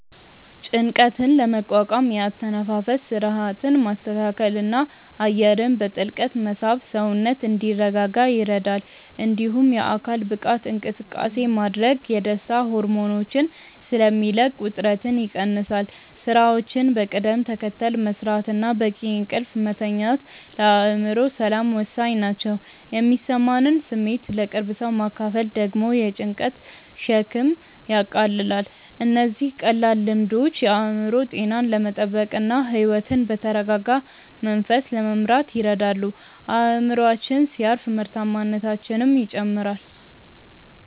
ጭንቀትን ለመቋቋም የአተነፋፈስ ሥርዓትን ማስተካከልና አየርን በጥልቀት መሳብ ሰውነት እንዲረጋጋ ይረዳል። እንዲሁም የአካል ብቃት እንቅስቃሴ ማድረግ የደስታ ሆርሞኖችን ስለሚለቅ ውጥረትን ይቀንሳል። ሥራዎችን በቅደም ተከተል መሥራትና በቂ እንቅልፍ መተኛት ለአእምሮ ሰላም ወሳኝ ናቸው። የሚሰማንን ስሜት ለቅርብ ሰው ማካፈል ደግሞ የጭንቀትን ሸክም ያቃልላል። እነዚህ ቀላል ልምዶች የአእምሮ ጤናን ለመጠበቅና ሕይወትን በተረጋጋ መንፈስ ለመምራት ይረዳሉ። አእምሮአችን ሲያርፍ ምርታማነታችንም ይጨምራል።